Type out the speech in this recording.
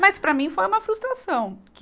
Mas para mim foi uma frustração. que